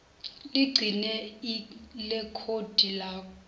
ligcine ilekhodi lazo